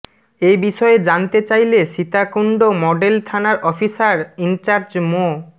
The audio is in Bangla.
এ বিষয়ে জানতে চাইলে সীতাকুণ্ড মডেল থানার অফিসার ইনচার্জ মো